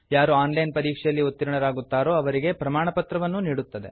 ಯಾರು online ಪರೀಕ್ಷೆಯಲ್ಲಿ ಉತ್ತೀರ್ಣರಾಗುತ್ತಾರೋ ಅವರಿಗೆ ಪ್ರಮಾಣಪತ್ರವನ್ನೂ ನೀಡುತ್ತದೆ